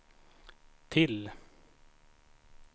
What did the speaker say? till